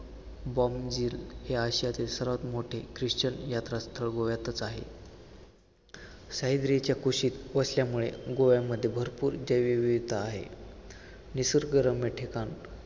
Bomb Jesus हे आशियातील सर्वात मोठे ख्रिश्चन यात्रास्थळ गोव्यातच आहे. सह्याद्रीच्या कुशीत वसल्यामुळे गोव्यामध्ये भरपूर जैवविविधता आहे. निसर्गरम्य ठिकाण